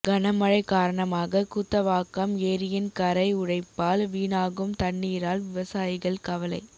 கனமழை காரணமாக கூத்தவாக்கம் ஏரியின் கரை உடைப்பால் வீணாகும் தண்ணீரால் விவசாயிகள் கவலை